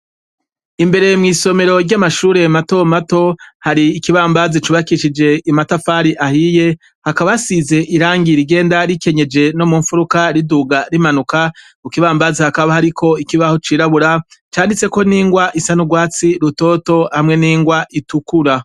Imbere mw'isomero ry'amashure matomato hari ikibambazi cubakishije amatafari ahiye, hakaba hasize irangi rigenda rikenyeje no mu mfuruka riduga rimanuka, ku kibambazi hakaba hariko ikibaho cirabura canditse ko n'ingwa isa n'urwatsi rutoto hamwe n'ingwa itukura.